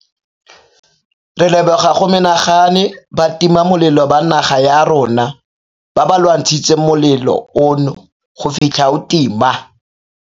Re leboga go menagane batimamolelo ba naga ya rona ba ba lwantshitseng molelo ono go fitlha o tima.